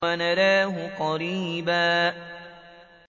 وَنَرَاهُ قَرِيبًا